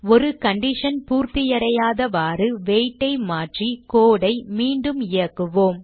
ஒரு கண்டிஷன் பூர்த்தியடையாதவாறு weight ஐ மாற்றி code ஐ மீண்டும் இயக்குவோம்